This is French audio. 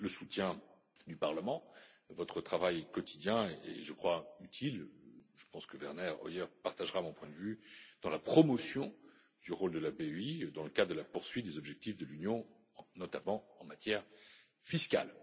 Le soutien du Parlement, votre travail quotidien, est utile je pense que Werner Hoyer partagera mon point de vue dans la promotion du rôle de la BEI dans le cadre de la poursuite des objectifs de l'Union, notamment en matière fiscale.